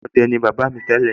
ọdẹ ni bàbá mi tẹ́lẹ̀